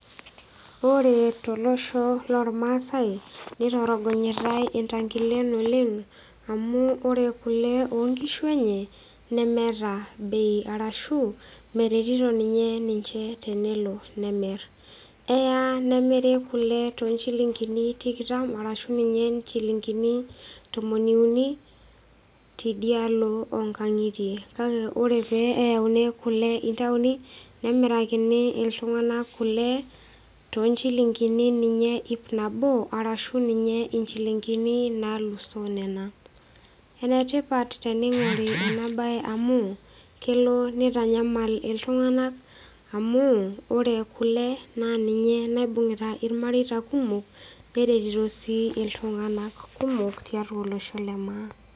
Ore tolosho loormaasae nitorogonyitae ntangilen oleng amu ore kule onkishu enye nemeeta bei arashu meretito ninye ninche tenelo nemir , eya nimiri kule toonchilingini tikitam arashu ninye nchilingini tomoni uni tidialo onkangitie , kake ore peayuni kule ntaoni nemirakini iltunganak kule toonchilingini ninye ip nabo arashu ninye inchilingini nalusoo nena. Enetipat teningori enabae amu kelo nitanyamal iltunganak amu ore kule naa ninye naibungita irmareita kumok neretito sii iltunganak kumok tiatua olosho lemaa.